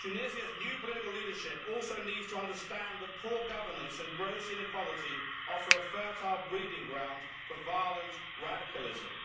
Tunisia's new political leadership also needs to understand that poor governance and gross inequality offer a fertile breeding ground for violent radicalism.